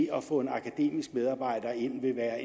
at få en akademisk medarbejder ind vil være